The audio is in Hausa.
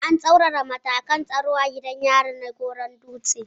An tsaurara matakan tsaro a gidan yari na Goran-dutse